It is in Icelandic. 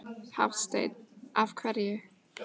Hafsteinn: Af hverju?